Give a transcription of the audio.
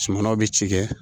Sumanw bɛ ci kɛ